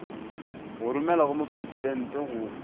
go romelwa go mopresidente go